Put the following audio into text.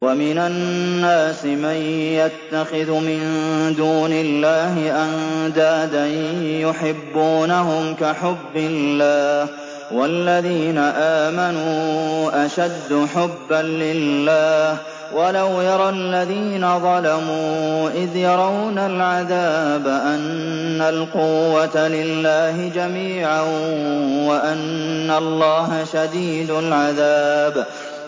وَمِنَ النَّاسِ مَن يَتَّخِذُ مِن دُونِ اللَّهِ أَندَادًا يُحِبُّونَهُمْ كَحُبِّ اللَّهِ ۖ وَالَّذِينَ آمَنُوا أَشَدُّ حُبًّا لِّلَّهِ ۗ وَلَوْ يَرَى الَّذِينَ ظَلَمُوا إِذْ يَرَوْنَ الْعَذَابَ أَنَّ الْقُوَّةَ لِلَّهِ جَمِيعًا وَأَنَّ اللَّهَ شَدِيدُ الْعَذَابِ